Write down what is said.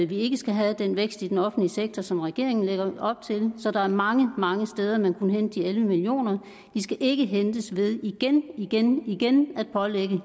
vi ikke skal have den vækst i den offentlige sektor som regeringen lægger op til så der er mange mange steder man kunne hente de elleve million kroner skal ikke hentes ved igen igen igen at pålægge